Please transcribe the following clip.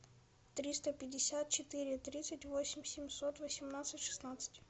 триста пятьдесят четыре тридцать восемь семьсот восемнадцать шестнадцать